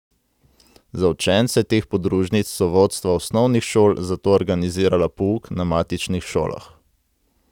Za učence teh podružnic so vodstva osnovnih šol zato organizirala pouk na matičnih šolah.